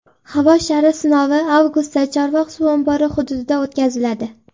Havo shari sinovi avgustda Chorvoq suv ombori hududida o‘tkaziladi.